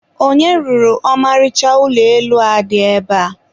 onye rụrụ ọmarịcha ụlọ elu a dị ebe a?